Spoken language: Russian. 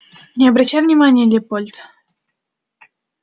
не обращай внимания лепольд